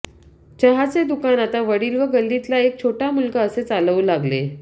चहाचे दुकान आता वडील व गल्लीतला एक छोटा मुलगा असे चालवू लागले